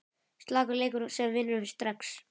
Slakur leikur sem vinnur strax!